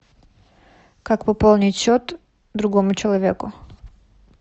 как пополнить счет другому человеку